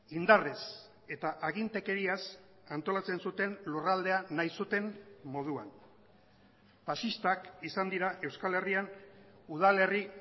indarrez eta agintekeriaz antolatzen zuten lurraldea nahi zuten moduan faxistak izan dira euskal herrian udalerri